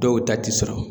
Dɔw ta ti sɔrɔ